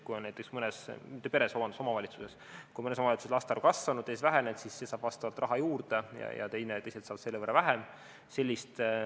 Kui näiteks mõnes omavalitsuses on laste arv kasvanud, siis see saab raha juurde ja teised saavad selle võrra vähem.